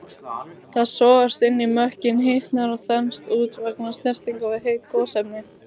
Það sogast inn í mökkinn, hitnar og þenst út vegna snertingar við heit gosefni.